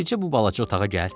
Bircə bu balaca otağa gəl.